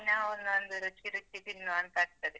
ದಿನಾ ಒಂದೊಂದು ರುಚಿ ರುಚಿ ತಿನ್ನುವಂತಾ ಆಗ್ತದೆ.